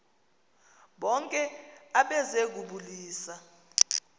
bonke abeze kubulisa